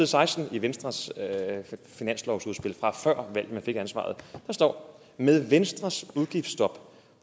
seksten i venstres finanslovsudspil fra før valget fik ansvaret der står med venstres udgiftsstop